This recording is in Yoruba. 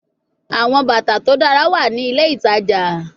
Awọn bata to dara wa ni ile itaja